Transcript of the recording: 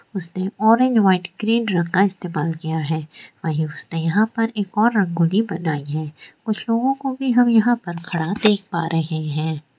उसने orange white green रंग इस्तेमाल किया है वहीं उसने यहां पर एक और रंगोली बनाई है कुछ लोगों को भी हम यहां पर खड़ा देख पा रहें हैं।